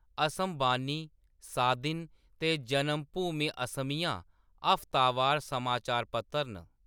असम बानी, सादिन ते जनमभूमि असमिया हफ्तावार समाचार पत्तर न।